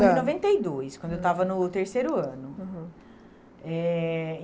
Ãh. Em noventa e dois, quando eu estava no terceiro ano. Uhum. Eh